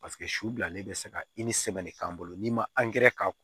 Paseke su bilalen bɛ se ka i ni sɛbɛn de k'an bolo n'i ma k'a kun